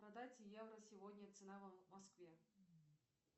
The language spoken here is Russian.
продать евро сегодня цена в москве